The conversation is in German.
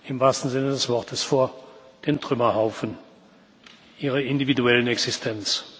im wahrsten Sinne des Wortes vor den Trümmerhaufen ihrer individuellen Existenz.